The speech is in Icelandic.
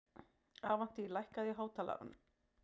Avantí, lækkaðu í hátalaranum.